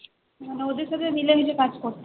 মানে ওদের সাথে মিলে মিশে কাজ করতে হবে